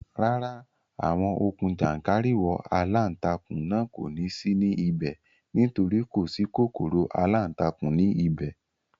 Rárá, àwọn okùn jàńkàrìwọ̀ aláǹtakùn náà kò ní sí ní ibẹ̀ nítorí kò sí kòkòrò aláǹtakùn ní ibẹ̀